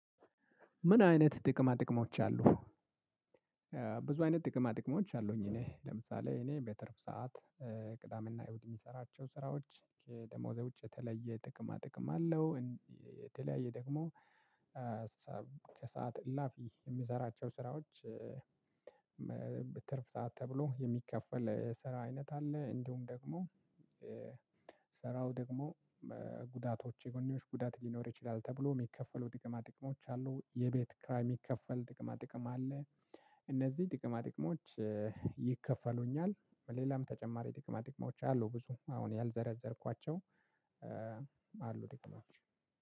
ምን አይነት ጥቅማ ጥቅሞች አሉ? ብዙ አይነት ጥቅማ ጥቅሞች አሉኝ እኔ። ለምሳሌ እኔ በተርፍ ሰዓት ቅዳምና እሁድ የሚሰራቸው ስራዎች ደሞዜ ውጪ የተለየ ጥቅማ ጥቅም አለው። የተለያየ ደግሞ ከሰአት እላፊ የሚዘራቸው ስራዎች በትርፍ ሰዓት ተብሎ የሚከፈል ስራ አይነት አለ። እንዲሁም ደግሞ ደግሞ ጉዳቶች የጎኔዎች ጉዳት ሊኖር ይችላል ተብሎ የሚከፈሉት የጥቅማ ጥቅሞች አሉ፣ የቤት ክራይ የሚከፈል ጥቅማ ጥቅም አለ፣ እነዚህ ጥቅማ ጥቅሞች ይከፈሉኛል። በሌላም ተጨማሪ ጥቅማ ድቅማዎች አሉ ብዙ አሁን ያልዘረዘርኳቸው አሉ ጥቅሞች።